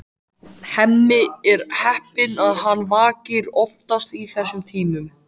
Hemmi er heppinn að hann vakir oftast í þessum tímum.